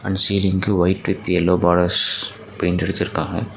And சீலிங்க்கு white with yellow borders paint அடிச்சிருக்காங்க.